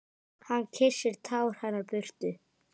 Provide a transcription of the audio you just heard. Hann kyssir tár hennar burtu.